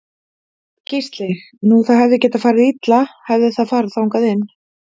Gísli: Nú það hefði getað farið illa hefði það farið þangað inn?